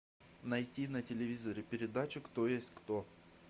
найти на телевизоре передачу кто есть кто